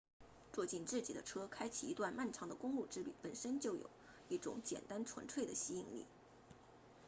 坐进自己的车开启一段漫长的公路之旅本身就有一种简单纯粹的吸引力